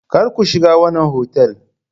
Kar ku shiga wannan otal!